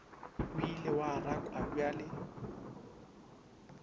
o ile wa rakwa bjalo